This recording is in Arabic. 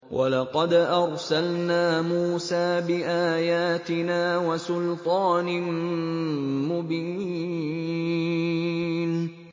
وَلَقَدْ أَرْسَلْنَا مُوسَىٰ بِآيَاتِنَا وَسُلْطَانٍ مُّبِينٍ